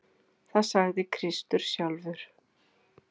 Það sagði Kristur sjálfur.